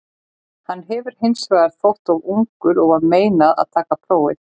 Hann hefur hins vegar þótt of ungur og var meinað að taka prófið.